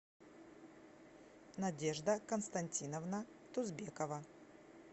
надежда константиновна тузбекова